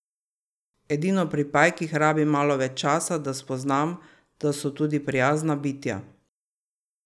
Edino pri pajkih rabim malo več časa, da spoznam, da so tudi prijazna bitja.